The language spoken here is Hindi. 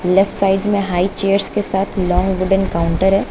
लेफ्ट साइड में हाई चेयर्स के साथ लॉन्ग वुडन काउंटर है।